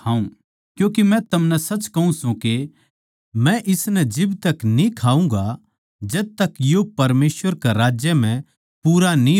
क्यूँके मै थमनै सच कहूँ सूं के मै इसनै जिब तक न्ही खाऊँगा जब तक यो परमेसवर के राज्य म्ह पूरा न्ही हो